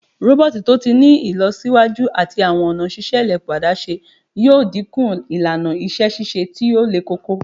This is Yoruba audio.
Roboti to ti ni ilọsiwaju ati awọn ọna ṣiṣe elepo adaṣe yoo dinku ilana iṣẹ ṣiṣe ti o lekoko